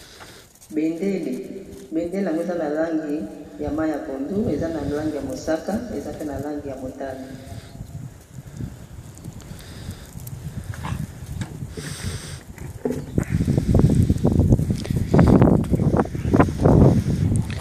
Bendele yango eza na langi ya mayi ya pondu, eza na langi ya mosaka, eza pe na langi ya motane .